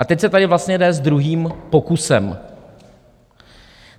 A teď se tady vlastně jde s druhým pokusem.